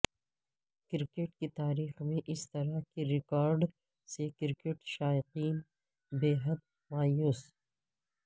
cricket کی تاریخ میں اس طرح کے ریکارڈ سے کرکٹ شائقین بے حد مایوس